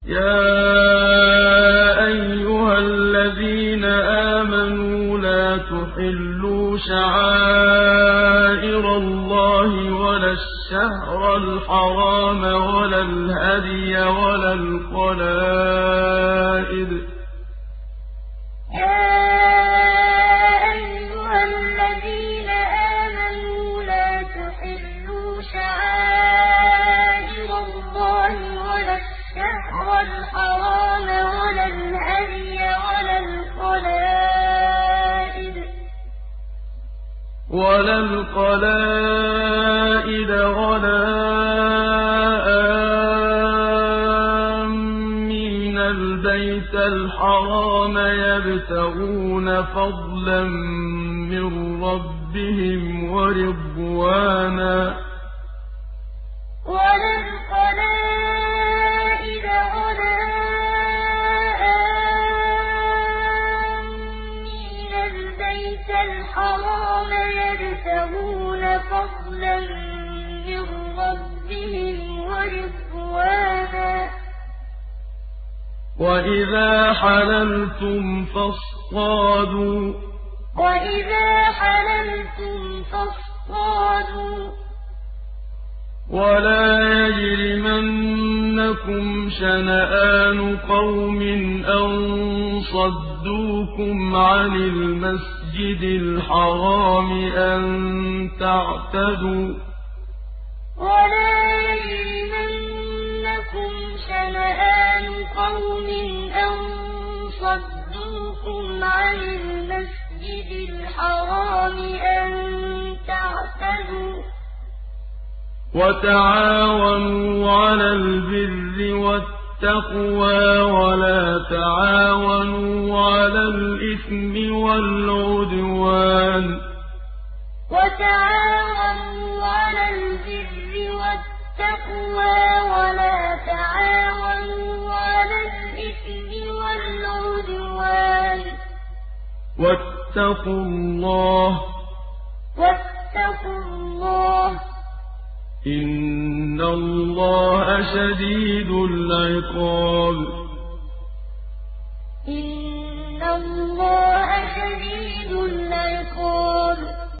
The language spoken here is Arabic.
يَا أَيُّهَا الَّذِينَ آمَنُوا لَا تُحِلُّوا شَعَائِرَ اللَّهِ وَلَا الشَّهْرَ الْحَرَامَ وَلَا الْهَدْيَ وَلَا الْقَلَائِدَ وَلَا آمِّينَ الْبَيْتَ الْحَرَامَ يَبْتَغُونَ فَضْلًا مِّن رَّبِّهِمْ وَرِضْوَانًا ۚ وَإِذَا حَلَلْتُمْ فَاصْطَادُوا ۚ وَلَا يَجْرِمَنَّكُمْ شَنَآنُ قَوْمٍ أَن صَدُّوكُمْ عَنِ الْمَسْجِدِ الْحَرَامِ أَن تَعْتَدُوا ۘ وَتَعَاوَنُوا عَلَى الْبِرِّ وَالتَّقْوَىٰ ۖ وَلَا تَعَاوَنُوا عَلَى الْإِثْمِ وَالْعُدْوَانِ ۚ وَاتَّقُوا اللَّهَ ۖ إِنَّ اللَّهَ شَدِيدُ الْعِقَابِ يَا أَيُّهَا الَّذِينَ آمَنُوا لَا تُحِلُّوا شَعَائِرَ اللَّهِ وَلَا الشَّهْرَ الْحَرَامَ وَلَا الْهَدْيَ وَلَا الْقَلَائِدَ وَلَا آمِّينَ الْبَيْتَ الْحَرَامَ يَبْتَغُونَ فَضْلًا مِّن رَّبِّهِمْ وَرِضْوَانًا ۚ وَإِذَا حَلَلْتُمْ فَاصْطَادُوا ۚ وَلَا يَجْرِمَنَّكُمْ شَنَآنُ قَوْمٍ أَن صَدُّوكُمْ عَنِ الْمَسْجِدِ الْحَرَامِ أَن تَعْتَدُوا ۘ وَتَعَاوَنُوا عَلَى الْبِرِّ وَالتَّقْوَىٰ ۖ وَلَا تَعَاوَنُوا عَلَى الْإِثْمِ وَالْعُدْوَانِ ۚ وَاتَّقُوا اللَّهَ ۖ إِنَّ اللَّهَ شَدِيدُ الْعِقَابِ